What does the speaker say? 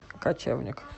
кочевник